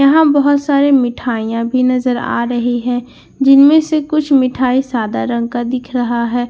यहां बहुत सारी मिठाईयां भी नजर आ रही है जिनमें से कुछ मिठाई सादा रंग का दिख रहा है और--